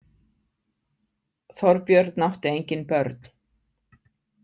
Þorbjörn átti engin börn.